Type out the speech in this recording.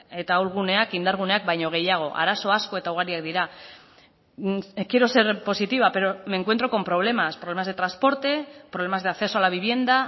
eta ahulguneak indarguneak baino gehiago arazo asko eta ugariak dira quiero ser positiva pero me encuentro con problemas problemas de transporte problemas de acceso a la vivienda